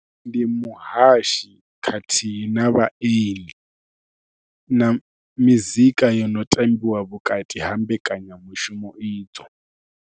Ndi muhashi khathihi na vhaeni na mizika yo no tambiwa vhukati ha mbekanyamushumo idzo.